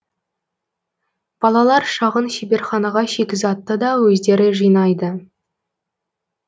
балалар шағын шеберханаға шикізатты да өздері жинайды